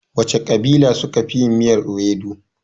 Wace ƙabila suka fi yin miyar iwedu?